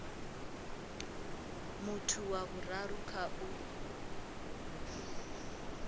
muthu wa vhuraru kha u